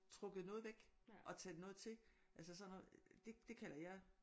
Trukket noget væk og taget noget til altså sådan noget det det kalder jeg